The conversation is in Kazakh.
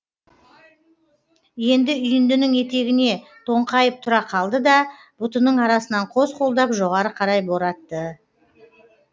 енді үйіндінің етегіне тоңқайып тұра қалды да бұтының арасынан қос қолдап жоғары қарай боратты